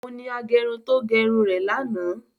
Òun ni agẹrun tí ó gẹ irun rẹ̀ ní àná